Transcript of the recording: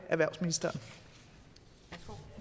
erhvervsministeren af